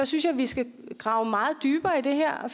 synes vi skal grave meget dybere i det her og